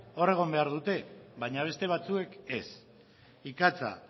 hor egon behar dute baina beste batzuek ez ikatza